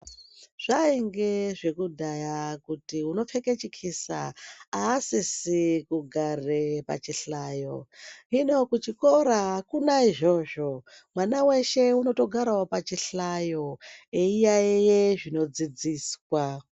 Zvayinge zvekudaya kuti unopfeke chikisa, asisi kugare pachihlayo. Hino kuchikora, akuna izvozvo. Mwana weshe unotogarawo pachihlayo eyiyayeye zvinodzidziswa.